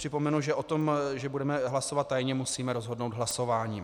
Připomenu, že o tom, že budeme hlasovat tajně, musíme rozhodnout hlasováním.